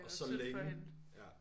Og så længe ja